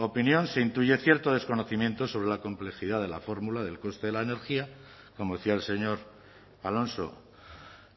opinión se intuye cierto desconocimiento sobre la complejidad de la fórmula del coste de la energía como decía el señor alonso